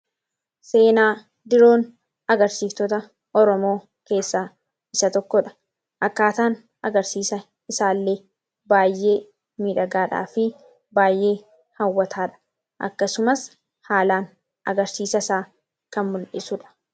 seenaa diroon agarsiiftota oromoo keessaa isa tokkodha. akkaataan agarsiisa isaa illee baay'ee miidhagaadhaa fi baay'ee hawwataadha akkasumas haalaan agarsiisa isaa kan muldhisuudha.